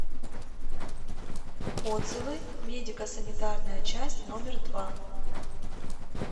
отзывы медико санитарная часть номер два